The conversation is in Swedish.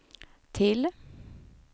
till